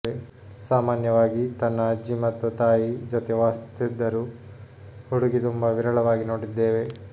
ಸಾಮಾನ್ಯವಾಗಿ ತನ್ನ ಅಜ್ಜಿ ಮತ್ತು ತಾಯಿ ಜೊತೆ ವಾಸಿಸುತ್ತಿದ್ದರು ಹುಡುಗಿ ತುಂಬಾ ವಿರಳವಾಗಿ ನೋಡಿದ್ದೇವೆ